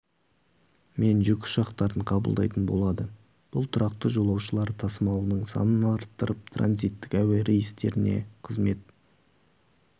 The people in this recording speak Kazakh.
мен жүк ұшақтарын қабылдайтын болады бұл тұрақты жолаушылар тасымалының санын арттырып транизиттік әуе рейстеріне қызмет